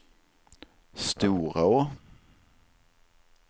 Storå